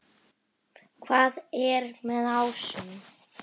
Hvað er með ásum?